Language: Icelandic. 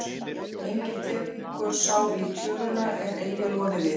Enginn tekur sá í tjöruna er eigi loði við.